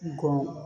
Go